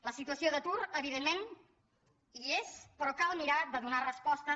la situa·ció d’atur evidentment hi és però cal mirar de donar respostes